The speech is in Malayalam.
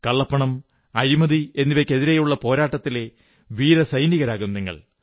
കള്ളപ്പണം അഴിമതി എന്നിവയ്ക്കെതിരെയുള്ള പോരാട്ടത്തിലെ വീരസൈനികരാകും നിങ്ങൾ